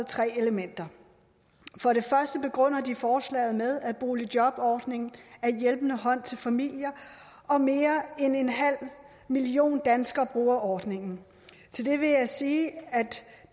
tre elementer for det første begrunder de forslaget med at boligjobordningen er en hjælpende hånd til familier og at mere end en halv million danskere bruger ordningen til det vil jeg sige at